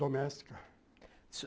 Doméstica.